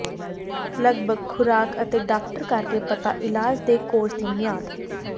ਲਗਭਗ ਖੁਰਾਕ ਅਤੇ ਡਾਕਟਰ ਕਰਕੇ ਪਤਾ ਇਲਾਜ ਦੇ ਕੋਰਸ ਦੀ ਮਿਆਦ